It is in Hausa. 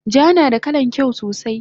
Ja nada kalan kyau sosai